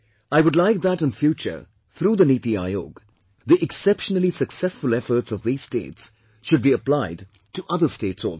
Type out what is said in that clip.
I would like that in future, through the Niti Aayog, the exceptionally successful efforts of these states should be applied to other states also